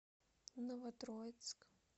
новотроицк